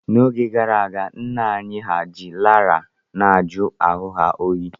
N'oge gara aga, nna nna anyị hà ji laraa na-ajụ ahu ha oyi.